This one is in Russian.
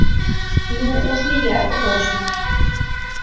ну уж не я это точно